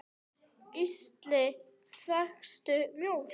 Gísli: Fékkstu mjólk?